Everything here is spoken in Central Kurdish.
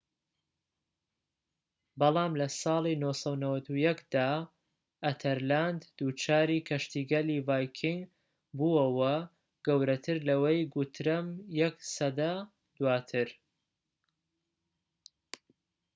بەڵام لەساڵی ٩٩١ دا ئەتەرلاند دووچاری کەشتیگەلی ڤایکینگ بووەوە گەورەتر لەوەی گوترەم یەك سەدە دواتر